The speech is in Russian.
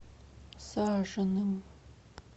сажиным